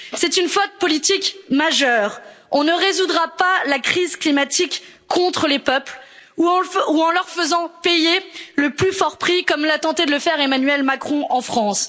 C'est une faute politique majeure on ne résoudra pas la crise climatique contre les peuples ou en leur faisant payer le plus fort prix, comme a tenté de le faire Emmanuel Macron en France.